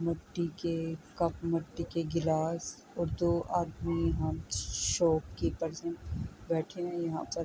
مٹتی کے کپ مٹتی کے گلاس اور دو آدمی یہاں شوپکیپیرس ہے بیٹھے ہے یہا پر --